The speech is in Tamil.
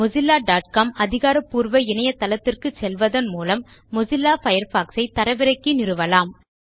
mozillaகாம் அதிகாரபூர்வ இணையதளத்துக்குச் செல்வதன் மூலம் மொசில்லா Firefoxசை தரவிறக்கி நிறுவலாம்